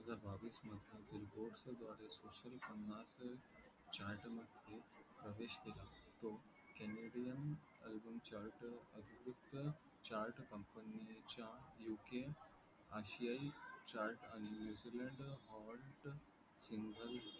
मध्ये प्रवेस केला तो केनेडियन ALBUM , COMPANY चा U. K आसीया आणि निव्ईझीलेंद ओड सिंद्ल